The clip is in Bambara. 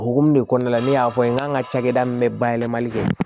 Hokumu de kɔnɔna la ne y'a fɔ n ye n ka cakɛda min bɛ bayɛlɛmali kɛ